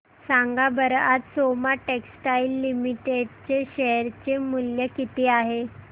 सांगा बरं आज सोमा टेक्सटाइल लिमिटेड चे शेअर चे मूल्य किती आहे